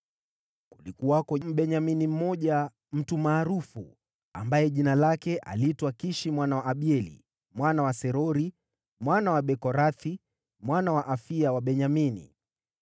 Kulikuwako Mbenyamini mmoja, mtu maarufu, ambaye aliitwa Kishi mwana wa Abieli, mwana wa Serori, mwana wa Bekorathi, mwana wa Afia wa Benyamini.